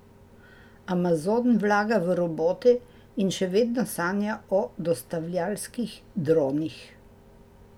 Amazon vlaga v robote in še vedno sanja o dostavljavskih dronih.